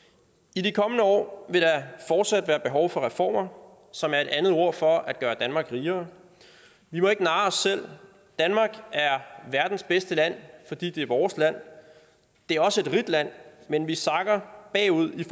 i de kommende år vil der fortsat være behov for reformer som er et andet ord for at gøre danmark rigere vi må ikke narre os selv danmark er verdens bedste land fordi det er vores land det er også et rigt land men vi sakker bagud i